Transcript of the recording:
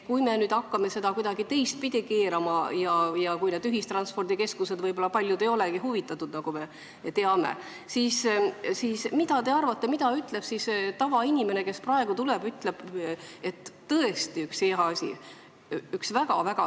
Kui me nüüd hakkame seda kuidagi teistpidi keerama ja kui võib-olla paljud ühistranspordikeskused ei olegi huvitatud, nagu me teame, siis mis te arvate, mida ütleb see tavainimene, kes praegu leiab, et see on tõesti hea asi?